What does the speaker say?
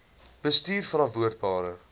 bestuurverantwoordbare